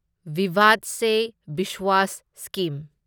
ꯚꯤꯚꯥꯗ ꯁꯦ ꯚꯤꯁ꯭ꯋꯥꯁ ꯁ꯭ꯀꯤꯝ